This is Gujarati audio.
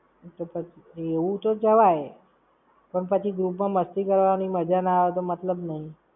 એવું તો જવાય. પણ પછી group માં મસ્તી કરવાની મજા ના આવે તો મતલબ નઈ.